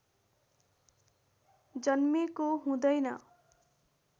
जन्मेको हुँदैन